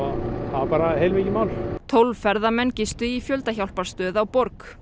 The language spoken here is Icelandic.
það var heilmikið mál tólf ferðamenn gistu í fjöldahjálparstöð á borg